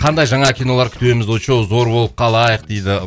қандай жаңа кинолар күтеміз очоу зор болып қалайық дейді